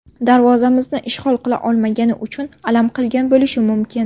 Darvozamizni ishg‘ol qila olmagani uchun alam qilgan bo‘lishi mumkin.